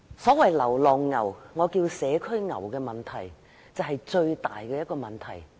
所謂流浪牛，我稱為社區牛的問題，就是最大的問題。